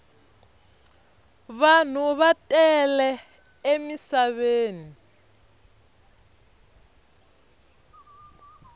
vanhu va tele emisaveni